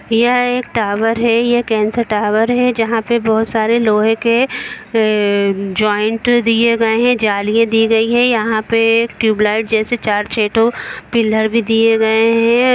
यह एक टावर है यह केन्सा टावर है जहां पे बहोत सारे लोहे के अ -अ ज्वाइंट दिये गये है जालियां दी गई है यहां पे ट्यूबलाइट जैसे चार-छे ठो पिलर भी दिए गए हैं।